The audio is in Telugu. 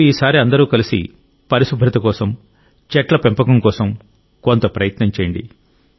మీరు ఈసారి అందరూ కలిసి పరిశుభ్రత కోసం చెట్ల పెంపకం కోసం కొంత ప్రయత్నం చేయండి